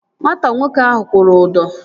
Nwata nwoke ahụ kwụrụ ụdọ